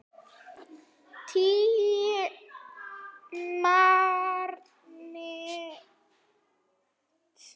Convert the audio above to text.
Tímarit og bækur.